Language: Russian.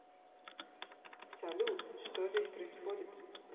салют что здесь происходит